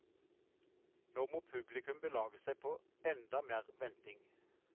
Nå må publikum belage seg på enda mer venting.